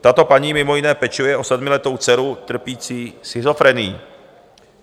Tato paní mimo jiné pečuje o sedmiletou dceru trpící schizofrenií.